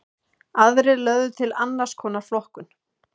Aðrir lögðu til annars konar flokkun.